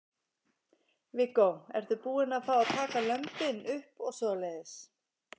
Viggó: Ertu búin að fá að taka lömbin upp og svoleiðis?